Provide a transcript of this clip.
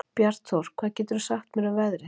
Bjartþór, hvað geturðu sagt mér um veðrið?